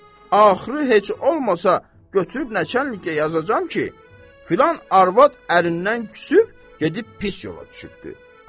Axırı heç olmasa götürüb nəçənliyə yazacam ki, filan arvad ərindən küsüb gedib pis yola düşübdür.